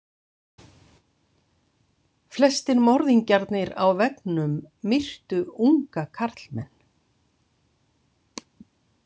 Flestir morðingjarnir á veggnum myrtu unga karlmenn.